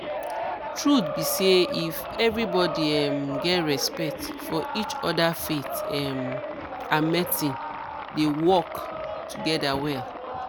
truth be say if everybody um get respect for each other faith um and medicine dey work together well